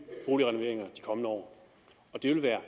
boligrenoveringer i de kommende år og det vil være